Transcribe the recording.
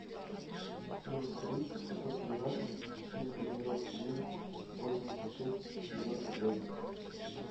плюс три шестьсот тринадцать четыреста девяносто девять восемьдесят шесть девяносто пять